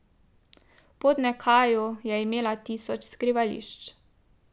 V Podnekaju je imela tisoč skrivališč.